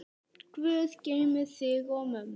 Guð geymi þig og mömmu.